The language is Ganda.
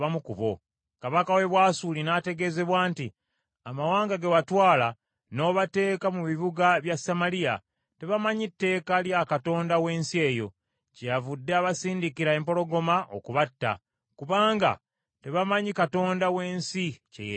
Kabaka w’e Bwasuli n’ategeezebwa nti, “Amawanga ge watwala n’obateeka mu bibuga bya Samaliya tebamanyi tteeka lya Katonda w’ensi eyo, kyeyavudde abasindikira empologoma okubatta, kubanga tebamanyi Katonda w’ensi kye yeetaaga.”